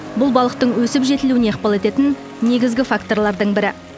бұл балықтың өсіп жетілуіне ықпал ететін негізгі факторлардың бірі